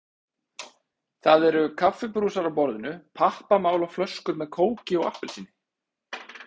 Það eru kaffibrúsar á borðinu, pappamál og flöskur með kóki og appelsíni.